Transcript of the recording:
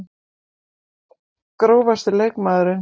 Grófasti leikmaðurinn?